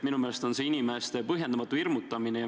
Minu meelest on see inimeste põhjendamatu hirmutamine.